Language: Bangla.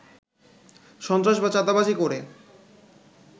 সন্ত্রাস বা চাঁদাবাজি করে